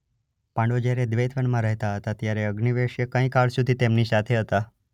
પાંડવો જ્યારે દ્વૈતવનમાં રહેતા હતા ત્યારે અગ્નિવેશ્ય કંઈ કાળ સુધી તેમની સાથે હતા.